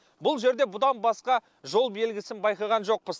бұл жерде бұдан басқа жол белгісін байқаған жоқпыз